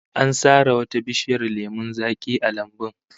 An sare wata bishiyar lemon zaki a lambun